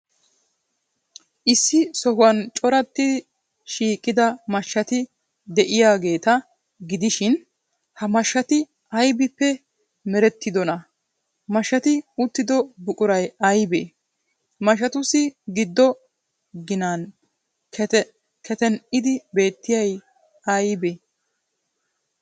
Issi sohuwan corattidi shiiqida mashshati de'iyaageeta gidishin, ha mashshaati aybippe merettidonaa? Mashshati uttido buquray aybee? Mashshatussi giddo ginan keten''di beettiyay aybee?